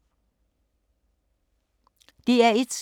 DR1